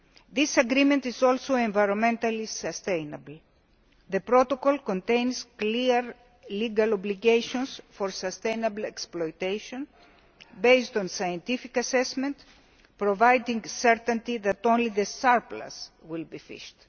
This agreement is also environmentally sustainable the protocol contains clear legal obligations for sustainable exploitation, based on scientific assessment, providing certainty that only the surplus will be fished.